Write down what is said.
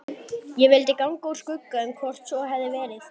Ég vildi ganga úr skugga um hvort svo hefði verið.